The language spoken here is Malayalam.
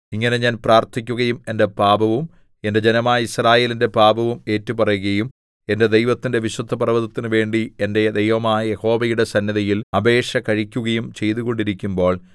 ഇങ്ങനെ ഞാൻ പ്രാർത്ഥിക്കുകയും എന്റെ പാപവും എന്റെ ജനമായ യിസ്രായേലിന്റെ പാപവും ഏറ്റുപറയുകയും എന്റെ ദൈവത്തിന്റെ വിശുദ്ധപർവ്വതത്തിനു വേണ്ടി എന്റെ ദൈവമായ യഹോവയുടെ സന്നിധിയിൽ അപേക്ഷ കഴിക്കുകയും ചെയ്തുകൊണ്ടിരിക്കുമ്പോൾ